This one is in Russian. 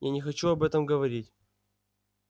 я не хочу об этом говорить